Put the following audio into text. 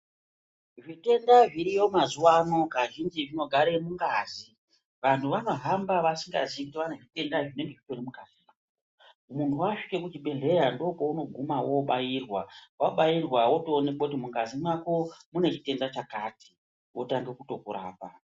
Zvitenda zvirimo mazuva ano kazhinji zvinogara mungazi vantu vanohamba vasingazivi zvitenda zviri zviri mukatii munhu wasvika kuzvibhedhlera ndokwauniguma wobairwa. Wotooonekwa kuti mungazi mako mune zchutenda chakati wotoaomba kutorapwa.